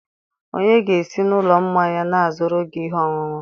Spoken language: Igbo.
onye ga-esi n'ụlọ mmanya na-azụrụ gị ihe ọṅụṅụ?